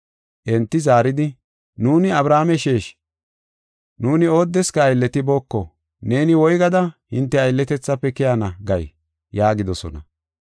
Enti zaaridi, “Nuuni Abrahaame sheeshi; nuuni oodeska aylletibooko. Neeni woygada, ‘Hinte aylletethafe keyana’ gay?” yaagidosona.